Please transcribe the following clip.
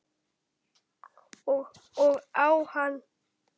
Og á hann.